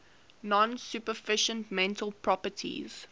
non supervenient mental properties